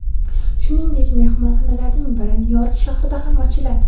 Shuningdek, mehmonxonalarning biri Nyu-York shahrida ham ochiladi.